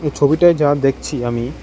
এই ছবিটায় যা দেখছি আমি--